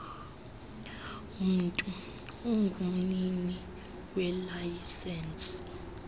mntu ungumnini welayisenisi